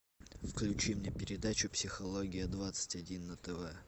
включи мне передачу психология двадцать один на тв